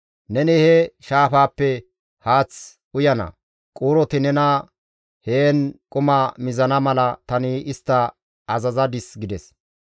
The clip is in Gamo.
Neni he shaafaappe haath uyana; quuroti nena heen quma mizana mala tani istta azazadis» gides.